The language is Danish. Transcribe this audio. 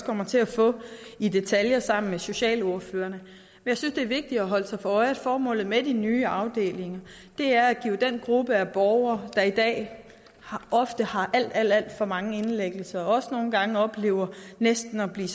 kommer til at få i detaljer sammen med socialordførerne jeg synes det er vigtigt at holde sig for øje at formålet med de nye afdelinger er at give den gruppe af borgere der i dag ofte har alt alt for mange indlæggelser og også nogle gange oplever næsten at blive